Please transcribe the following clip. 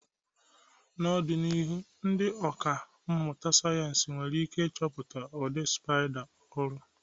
N'ọdịnihu, ndị ọkà mmụta sayensị nwere ike ịchọpụta ụdị spiders ọhụrụ.